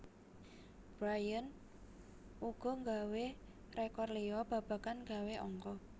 Bryant uga gawé rékor liya babagan gawé angka